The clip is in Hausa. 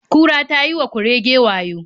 Kura ta yi wa kurege wayo.